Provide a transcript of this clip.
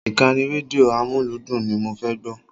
Ìkànnì rédíò amúlúdùn ni mo fẹ́ gbọ́.